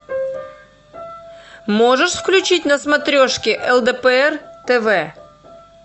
можешь включить на смотрешке лдпр тв